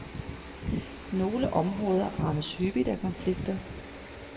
Nogle områder rammes hyppigt af konflikter.